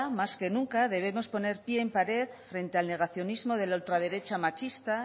más que nunca debemos poner pie en pared frente al negacionismo de la ultraderecha machista